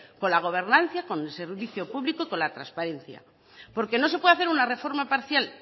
con la gobernanza con el servicio público y con la transparencia porque no se puede hacer una reforma parcial